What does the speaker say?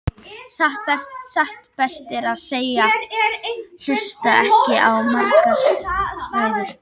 Satt best að segja hlustaði ég ekki á margar ræður.